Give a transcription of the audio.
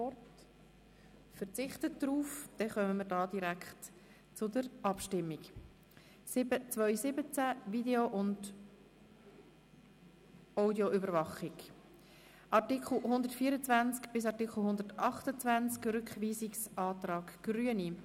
Wir kommen zu den Abstimmungen betreffend das Kapitel 7.2.17, Video- und Audioüberwachung, Artikel 124 bis 128, und beginnen mit dem Rückweisungsantrag der Grünen.